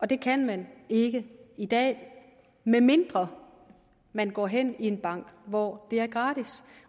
det kan man ikke i dag medmindre man går hen i en bank hvor det er gratis